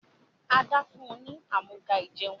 Ada fún ní Amúga-ìjẹun.